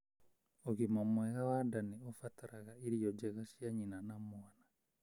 Ũgima mwega wa nda nĩ ũbataraga irio njega cia nyina na mwana.